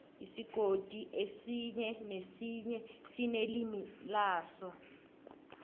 isigodi esinye nesinye sinelimi laso